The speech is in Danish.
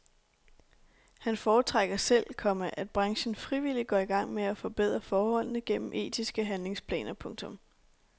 Han foretrækker selv, komma at branchen frivilligt går i gang med at forbedre forholdene gennem etiske handlingsplaner. punktum